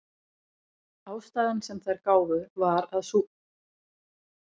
ástæðan sem þær gáfu var sú að þær væru ekki svangar